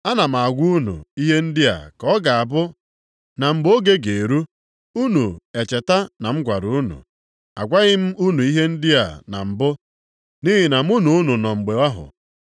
Ana m agwa unu ihe ndị a ka ọ ga-abụ na mgbe oge ga-eru, unu echeta na m gwara unu. Agwaghị m unu ihe ndị a na mbụ nʼihi na mụ na unu nọ mgbe ahụ.